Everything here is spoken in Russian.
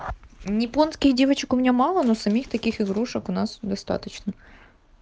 японских девочек у меня мало но самих таких игрушек у нас достаточно